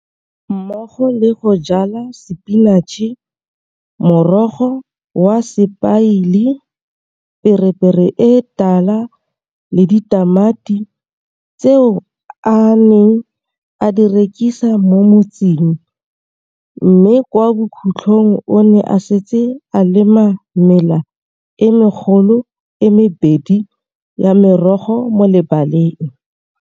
Mmogo le go jala sepinatšhe, morogo wa sepaile, pepere e tala le ditamati, tseo a neng a di rekisa mo motseng, mme kwa bokhutlhong o ne a setse a lema mela e megolo e mebedi ya merogo mo lebaleng.